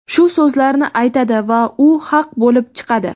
shu so‘zlarni aytadi va u haq bo‘lib chiqadi.